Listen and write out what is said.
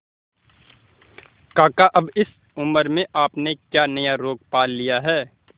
काका अब इस उम्र में आपने क्या नया रोग पाल लिया है